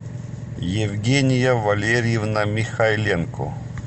евгения валерьевна михайленко